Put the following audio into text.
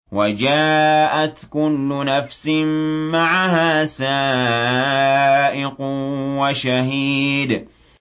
وَجَاءَتْ كُلُّ نَفْسٍ مَّعَهَا سَائِقٌ وَشَهِيدٌ